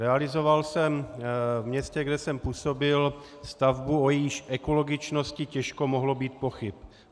Realizoval jsem v městě, kde jsem působil, stavbu, o jejíž ekologičnosti těžko mohlo být pochyb.